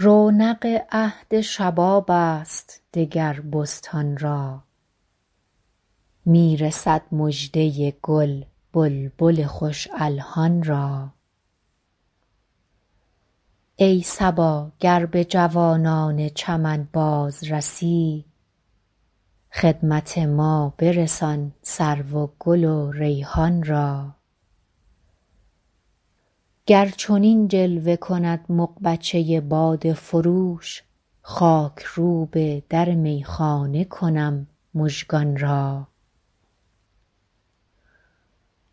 رونق عهد شباب است دگر بستان را می رسد مژده گل بلبل خوش الحان را ای صبا گر به جوانان چمن باز رسی خدمت ما برسان سرو و گل و ریحان را گر چنین جلوه کند مغبچه باده فروش خاک روب در میخانه کنم مژگان را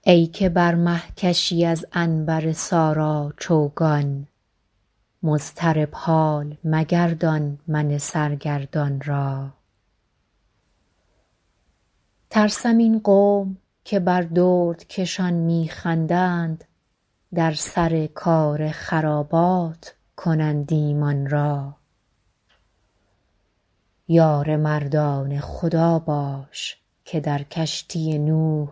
ای که بر مه کشی از عنبر سارا چوگان مضطرب حال مگردان من سرگردان را ترسم این قوم که بر دردکشان می خندند در سر کار خرابات کنند ایمان را یار مردان خدا باش که در کشتی نوح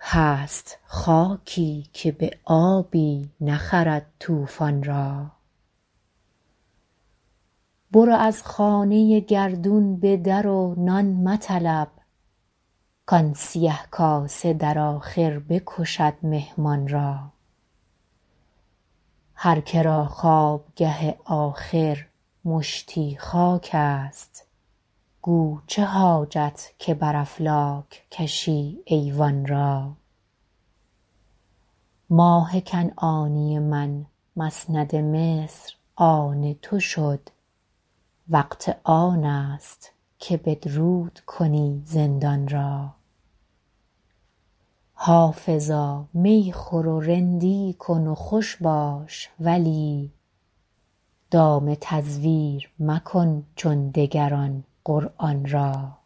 هست خاکی که به آبی نخرد طوفان را برو از خانه گردون به در و نان مطلب کآن سیه کاسه در آخر بکشد مهمان را هر که را خوابگه آخر مشتی خاک است گو چه حاجت که به افلاک کشی ایوان را ماه کنعانی من مسند مصر آن تو شد وقت آن است که بدرود کنی زندان را حافظا می خور و رندی کن و خوش باش ولی دام تزویر مکن چون دگران قرآن را